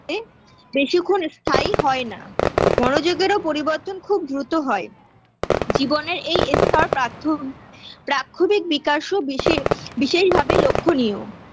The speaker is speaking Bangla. এ বেশিক্ষণ স্থায়ী হয় না মনোযোগেরও পরিবর্তন খুব দ্রুত হয় জীবনের এই স্তর প্রাক্ষ প্রাক্ষোভিক বিকাশও বিশে বিশেষভাবে লক্ষ্যনীয়